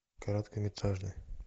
короткометражный